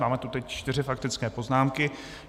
Máme tu teď čtyři faktické poznámky.